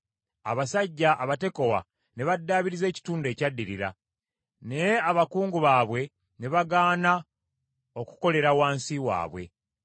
Abasajja Abatekowa ne baddaabiriza ekitundu ekyaddirira, naye abakungu baabwe ne bagaana okukolera wansi waabwe.